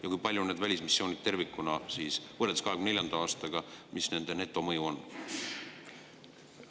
Ja kui palju välismissioonid tervikuna võrreldes 2024. aastaga, mis nende netomõju on?